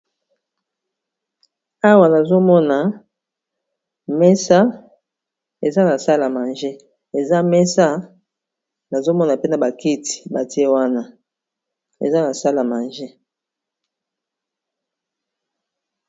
Awa nazomona mesa eza na sala manje eza mesa nazomona pena bakiti batie wana eza na sala manje